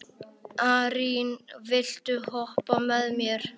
Arín, viltu hoppa með mér?